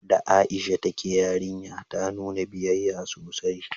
Da Aisha ta ke yarinya, ta nuna biyayya sosai